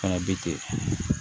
Fana bi ten